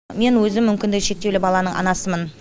мен өзім мүмкіндігі шектеулі баланың анасымын